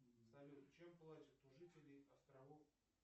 салют чем платят у жителей островов